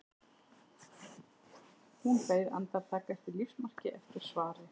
Hún beið andartak eftir lífsmarki, eftir svari.